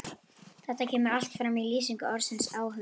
Þetta kemur allt fram í lýsingu orðsins áhugi: